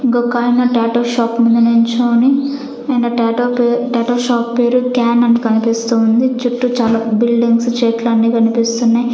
ఇంకొకాయన tattoo shop ముందు నిలుచొని ఆయన ట్యటూ పే ట్యటూ షాప్ పేరు క్యాన్ అని కనిపిస్తుంది చుట్టూ చాలా బిల్డింగ్స్ చెట్లు అన్ని కనిపిస్తున్నాయి.